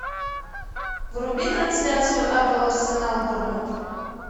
вруби трансляцию апл арсенал борнмут